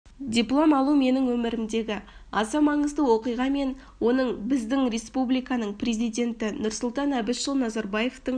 диплом алу менің өмірімдегі аса маңызды оқиға мен оны біздің республиканың президенті нұрсұлтан әбішұлы назарбаевтың